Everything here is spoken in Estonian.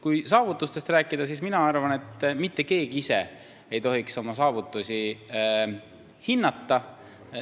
Kui saavutustest rääkida, siis mina arvan, et mitte keegi ei tohiks ise oma saavutusi hinnata.